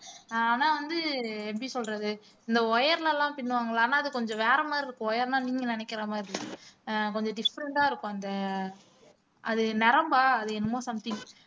ஆஹ் ஆனா வந்து எப்படி சொல்றது இந்த wire ல எல்லாம் பின்னுவாங்களான்னா அது கொஞ்சம் வேற மாரி இருக்கும் wire ன்னா நீங்க நினைக்கிற மாதிரி ஆஹ் கொஞ்சம் different ஆ இருக்கும் அந்த ஆஹ் அது நரம்பா அது என்னமோ something